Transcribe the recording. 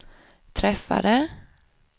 träffade